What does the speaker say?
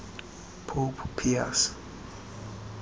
pope pius